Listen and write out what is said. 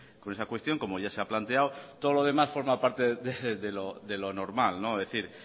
con esa cuestión como ya se ha planteado todo lo demás forma parte de lo normal es decir